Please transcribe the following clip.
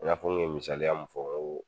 E y'a fɔ n kun misaliya min fɔ n ko